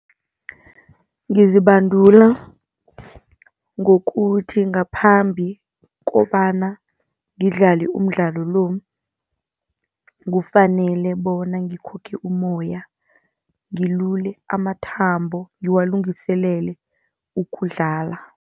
Ngizibandula ngokuthi ngaphambi kobana ngidlale umdlalo lo, kufanele bona ngikhokhe umoya, ngilule amathambo ngiwalungiselele ukudlala.